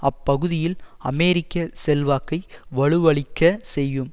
அப்பகுதியில் அமெரிக்க செல்வாக்கை வலுவழிக்க செய்யும்